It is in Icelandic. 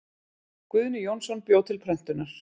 Guðni Jónsson bjó til prentunar.